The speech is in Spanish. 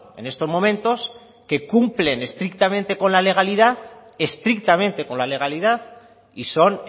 en estos momentos que cumplen estrictamente con la legalidad estrictamente con la legalidad y son